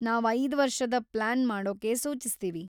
ನಾವ್‌ ಐದು ವರ್ಷದ ಪ್ಲಾನ್‌ ಮಾಡೊಕ್ಕೆ ಸೂಚಿಸ್ತೀವಿ.